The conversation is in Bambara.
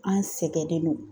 An sɛgɛnnen no.